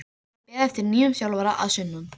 Það er beðið eftir nýjum þjálfara að sunnan.